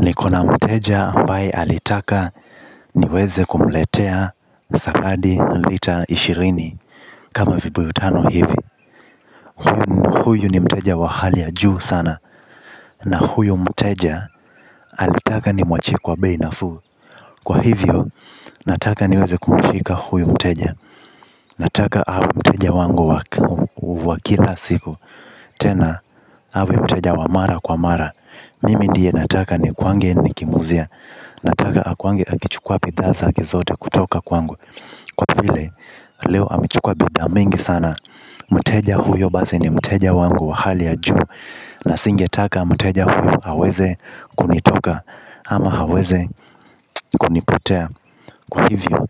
Nikona mteja ambaye alitaka niweze kumletea saladi lita ishirini. Kama vibuyu tano hivi huyu ni mteja wa hali ya juu sana. Na huyu mteja alitaka ni mwachie kwa beinafu. Kwa hivyo nataka niweze kumifika huyu mteja nataka awe mteja wangu wa kila siku. Tena hawe mteja wa mara kwa mara. Mimi ndiye nataka ni kwange nikimuzia. Nataka akwangi akichukua bidhaza akizote kutoka kwangu. Kwa vile leo amichukua bidhaa mingi sana mteja huyo basi ni mteja wangu wa hali ya juu. Na singetaka mteja huyo haweze kunitoka ama haweze kunipotea. Kwa hivyo